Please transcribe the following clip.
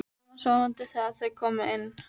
Hann var sofandi þegar þau komu inn.